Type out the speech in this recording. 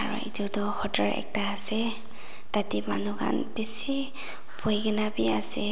aru edu tu hotor ekta ase tatae manu khan bishi boikaena biase.